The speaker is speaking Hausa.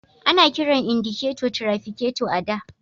Ana kiran indiketo trafiketo a da.